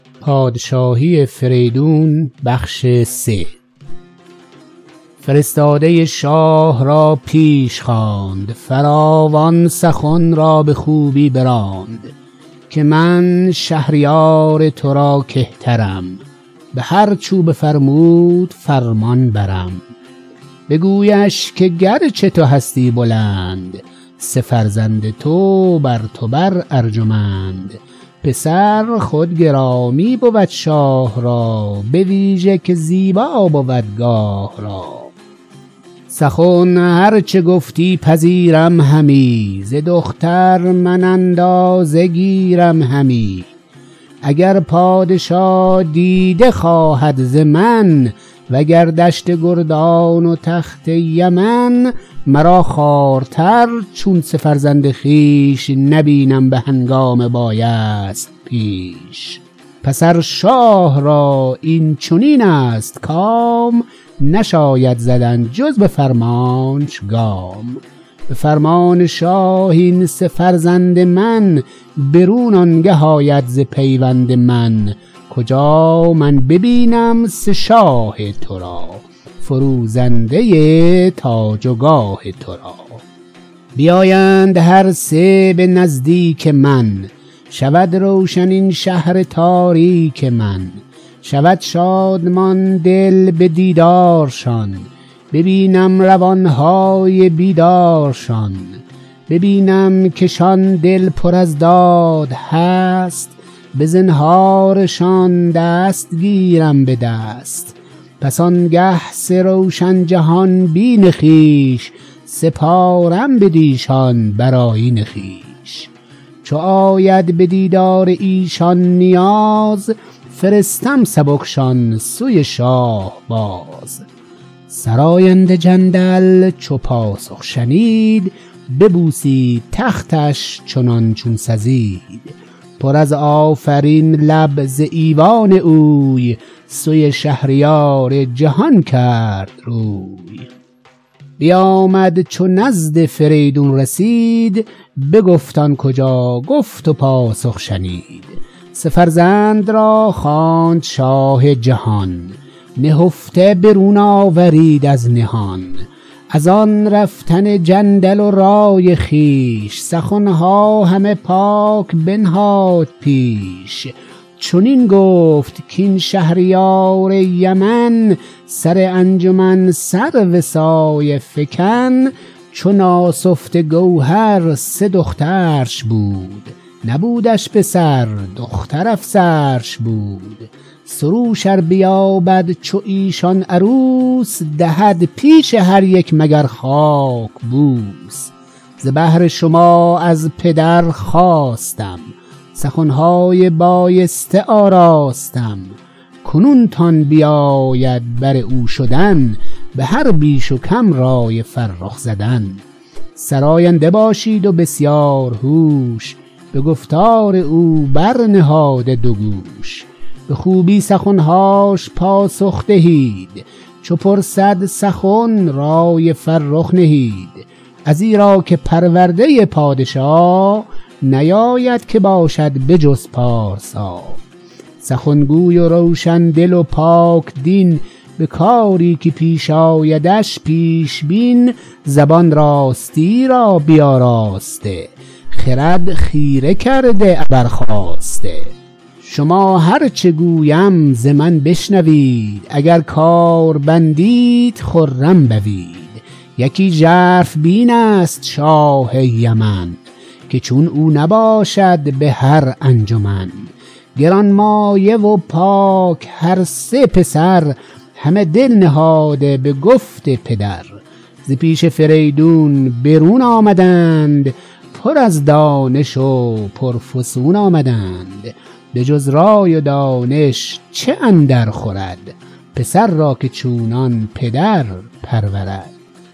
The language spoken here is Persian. فرستاده شاه را پیش خواند فراوان سخن را به خوبی براند که من شهریار ترا کهترم به هرچ او بفرمود فرمانبرم بگویش که گرچه تو هستی بلند سه فرزند تو برتو بر ارجمند پسر خود گرامی بود شاه را بویژه که زیبا بود گاه را سخن هر چه گفتی پذیرم همی ز دختر من اندازه گیرم همی اگر پادشا دیده خواهد ز من و گر دشت گردان و تخت یمن مرا خوارتر چون سه فرزند خویش نبینم به هنگام بایست پیش پس ار شاه را این چنین است کام نشاید زدن جز به فرمانش گام به فرمان شاه این سه فرزند من برون آنگه آید ز پیوند من کجا من ببینم سه شاه ترا فروزنده تاج و گاه ترا بیایند هر سه به نزدیک من شود روشن این شهر تاریک من شود شادمان دل به دیدارشان ببینم روانهای بیدارشان ببینم کشان دل پر از داد هست به زنهارشان دست گیرم به دست پس آنگه سه روشن جهان بین خویش سپارم بدیشان بر آیین خویش چو آید بدیدار ایشان نیاز فرستم سبکشان سوی شاه باز سراینده جندل چو پاسخ شنید ببوسید تختش چنان چون سزید پر از آفرین لب ز ایوان اوی سوی شهریار جهان کرد روی بیامد چو نزد فریدون رسید بگفت آن کجا گفت و پاسخ شنید سه فرزند را خواند شاه جهان نهفته برون آورید از نهان از آن رفتن جندل و رای خویش سخنها همه پاک بنهاد پیش چنین گفت کاین شهریار یمن سر انجمن سرو سایه فکن چو ناسفته گوهر سه دخترش بود نبودش پسر دختر افسرش بود سروش ار بیابد چو ایشان عروس دهد پیش هر یک مگر خاک بوس ز بهر شما از پدر خواستم سخنهای بایسته آراستم کنون تان بباید بر او شدن به هر بیش و کم رای فرخ زدن سراینده باشید و بسیارهوش به گفتار او برنهاده دوگوش به خوبی سخنهاش پاسخ دهید چو پرسد سخن رای فرخ نهید ازیرا که پرورده پادشا نباید که باشد به جز پارسا سخن گوی و روشن دل و پاک دین به کاری که پیش آیدش پیش بین زبان راستی را بیاراسته خرد خیره کرده ابر خواسته شما هر چه گویم ز من بشنوید اگر کار بندید خرم بوید یکی ژرف بین است شاه یمن که چون او نباشد به هرانجمن گرانمایه و پاک هرسه پسر همه دل نهاده به گفت پدر ز پیش فریدون برون آمدند پر از دانش و پرفسون آمدند بجز رای و دانش چه اندرخورد پسر را که چونان پدر پرورد